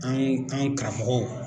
An an karamɔgɔw